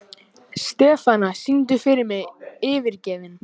Stefana, syngdu fyrir mig „Yfirgefinn“.